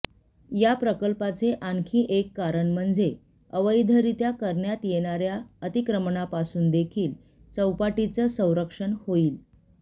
य प्रकल्पाचे आणखी एक कारण म्हणजे अवैधरित्या करण्यात येणाऱ्या अतिक्रमणापासून देखील चौपाटीचं संरक्षण होईल